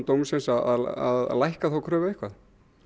dómsins að lækka þá kröfu eitthvað